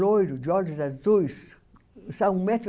loiro, de olhos azuis, só um metro e